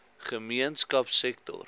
gemeenskapsektor